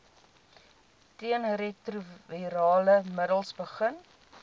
teenretrovirale middels begin